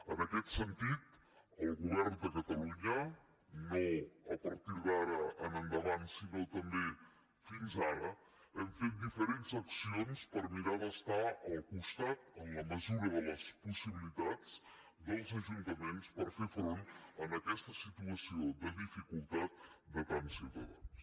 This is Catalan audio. en aquest sentit el govern de catalunya no a partir d’ara en endavant sinó també fins ara hem fet diferents accions per mirar d’estar al costat en la mesura de les possibilitats dels ajuntaments per fer front a aquesta situació de dificultat de tants ciutadans